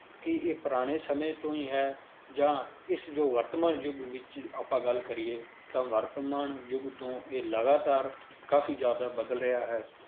ਕੀ ਇਹ ਪੁਰਾਣੇ ਸਮੇਂ ਤੋਂ ਹੀ ਹੈ, ਜਾਂ ਇਸ ਜੋ ਵਰਤਮਾਨ ਯੁੱਗ ਵਿੱਚ ਆਪਾਂ ਗੱਲ ਕਰੀਏ ਤਾਂ ਵਰਤਮਾਨ ਯੁੱਗ ਤੋਂ ਇਹ ਲਗਾਤਾਰ ਕਾਫ਼ੀ ਜ਼ਿਆਦਾ ਬਦਲ ਰਿਹਾ ਹੈ,